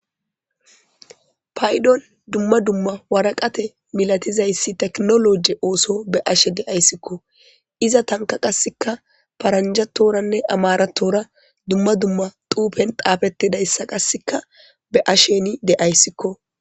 Paydon dumma dumma waraqate milatizayssi teknologe ooso be ashe de'ayssikko iza tanka qasseka paranjatoranne amaratora dumma dumma tuufen taafetidayssa qasseka be asheni de'ayssikko.